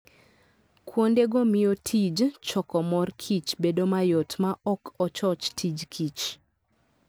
Kuondego miyo tij choko mor kich bedo mayot ma ok ochoch tij kich.